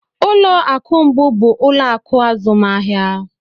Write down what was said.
Ụlọ akụ mbụ bụ ụlọ akụ azụmahịa